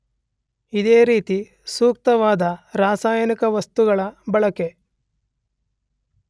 ಇದೇ ರೀತಿ ಸೂಕ್ತವಾದ ರಾಸಾಯನಿಕ ವಸ್ತುಗಳ ಬಳಕೆ